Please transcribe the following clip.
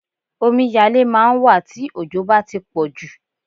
Omiyalé máà ń wà tí òjò bá tí pọ̀jù.